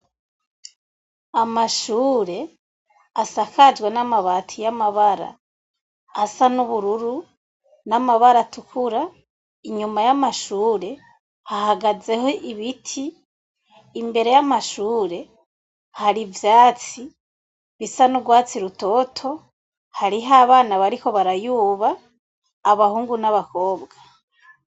amashure asakajwe n'amabati y'amabara asa n'ubururu n'amabara atukura inyuma y'amashure hahagazeho ibiti imbere y'amashure hari ivyatsi bisa n'ugwatsi rutoto hariho abana bariko barayuba abahungu n'abakobwa.